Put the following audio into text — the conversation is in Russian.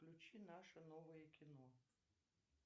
включи наше новое кино